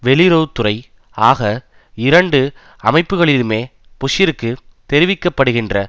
வெளியுறவு துறை ஆக இரண்டு அமைப்புக்களிலுமே புஷ்ஷிற்கு தெரிவிக்கப்படுகின்ற